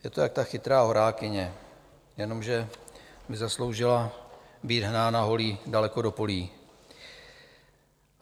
Je to jak ta chytrá horákyně, jenomže by zasloužila být hnána holí daleko do polí.